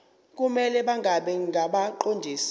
kumele bangabi ngabaqondisi